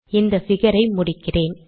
இந்த பிகர் ஐ முடிக்கிறேன்